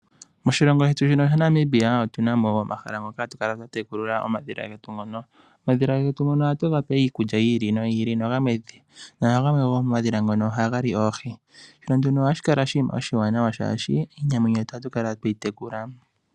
Moshilongo shetu shino shaNamibia otu na mo wo omahala getu ngono hatu tekulie omadhila getu. Omadhila ngono ohatu ga pe iikulya, yi ili no yi ili. Gamwe gomomadhila ngono ohaga li oohi, shono nduno ohashi kala oshinima oshiwanawa shaashi, iinamwenyo yetu ohatu kala twe yi tekula.